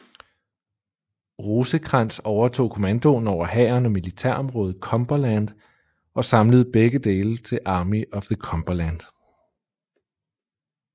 Rosecrans overtog kommandoen over hæren og militærområdet Cumberland og samlede begge dele til Army of the Cumberland